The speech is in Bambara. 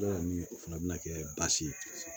o fana bɛna kɛ baasi ye